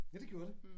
Ja det gjorde det